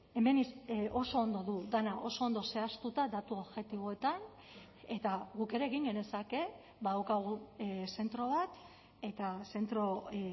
hemen oso ondo du dena oso ondo zehaztuta datu objektiboetan eta guk ere egin genezake badaukagu zentro bat eta zentro